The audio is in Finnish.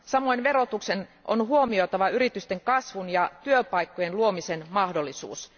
Samoin verotuksen on huomioitava yritysten kasvun ja työpaikkojen luomisen mahdollisuus.